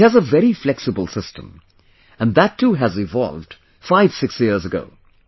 It has a very flexible system, and that too has evolved fivesix years ago